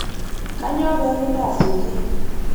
Kainyoo pee kintaas inji?